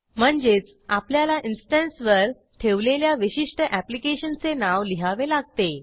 म्हणजेच आपल्याला इन्स्टन्सवर ठेवलेल्या विशिष्ट ऍप्लिकेशनचे नाव लिहावे लागते